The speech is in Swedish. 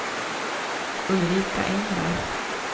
Ulrika Engvall